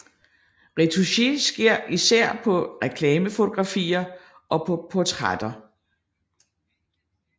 Retouche sker især på reklamefotografier og på portrætter